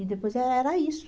E depois era isso.